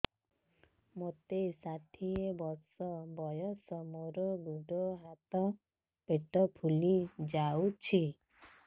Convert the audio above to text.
ମୋତେ ଷାଠିଏ ବର୍ଷ ବୟସ ମୋର ଗୋଡୋ ହାତ ପେଟ ଫୁଲି ଯାଉଛି